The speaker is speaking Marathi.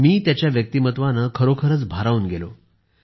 मी त्यांच्या व्यक्तिमत्वाने खरोखरच भारावून गेलो